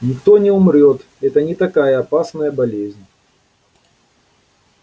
никто не умрёт это не такая опасная болезнь